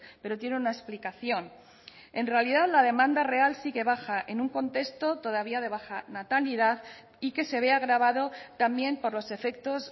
pero tiene una explicación en realidad la demanda real sigue baja en un contexto todavía de baja natalidad y que se ve agravado también por los efectos